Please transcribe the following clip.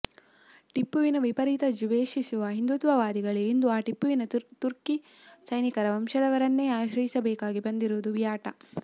ಟಿಪ್ಪುವಿನ ವಿಪರೀತ ದ್ವೇಷಿಸುವ ಹಿಂದುತ್ವವಾದಿಗಳೇ ಇಂದು ಆ ಟಿಪ್ಪುವಿನ ತುರ್ಕಿ ಸೈನಿಕರ ವಂಶದವರನ್ನೇ ಆಶ್ರಯಿಸಬೇಕಾಗಿ ಬಂದಿರುವುದು ವಿಯಾಟ